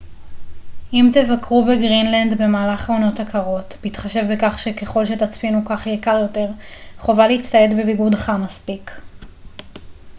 אם תבקרו בגרינלנד במהלך העונות הקרות בהתחשב בכך שככל שתצפינו כך יהיה קר יותר חובה להצטייד בביגוד חם מספיק